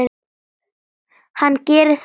Hann gerir það núna.